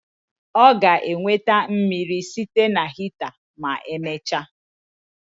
Ọ ga-enweta mmiri site na hita ma emechaa